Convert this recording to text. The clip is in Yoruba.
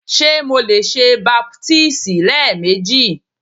Ṣe Mo le ṣe baptisi lẹẹmeji?